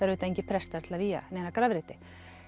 auðvitað engir prestar til að vígja neina grafreiti